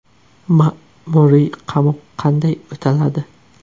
Ma’muriy qamoq qanday o‘taladi?.